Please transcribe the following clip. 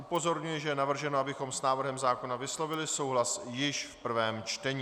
Upozorňuji, že je navrženo, abychom s návrhem zákona vyslovili souhlas již v prvém čtení.